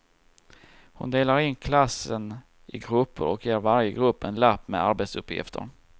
Hon delar in klassen i grupper och ger varje grupp en lapp med arbetsuppgifter.